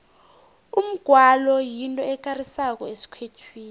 umgwalo yinto ekarisako esikhethwini